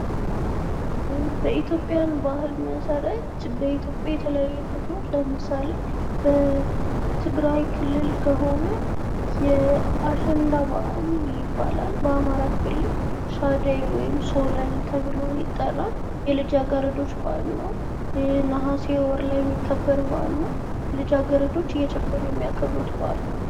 በኢትዮጵያ ባህል መሰረት በኢትዮጵያ የተለያዩ ክፍሎች ለምሳሌ በትግራይ ክልል ከሆነ አሸንዳ በዓል ይባላል። በአማራ ክልል ሻደይ ወይም ሶለል ይባላል። ነሀሴ አካባቢ ልጃገረዶች እየጨፈሩ የሚያከብሩት በዓል ነዉ።